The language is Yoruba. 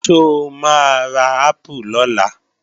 Ṣó máa ra ápù lọ́la?